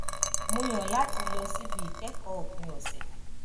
mo yàn láti lọ síbi ìkẹ́kọ̀ọ́ òpin ọ̀sẹ̀